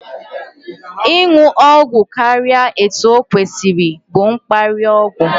Ịṅụ ọgwụ karịa etu okwesiri bụ mkparịa ọgwụ